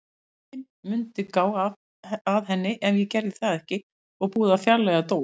Enginn mundi gá að henni ef ég gerði það ekki og búið að fjarlægja Dór.